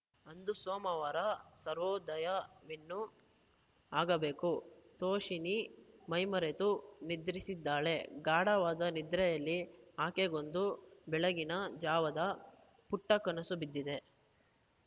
ಅಂದು ಸೋಮವಾರ ಸೂರ್ಯೋದಯವಿನ್ನೂ ಆಗಬೇಕು ತೋಷಿಣೀ ಮೈಮರೆತು ನಿದ್ರಿಸಿದ್ದಾಳೆ ಗಾಢವಾದ ನಿದ್ರೆಯಲ್ಲಿ ಆಕೆಗೊಂದು ಬೆಳಗಿನ ಜಾವದ ಪುಟ್ಟಕನಸು ಬಿದ್ದಿದೆ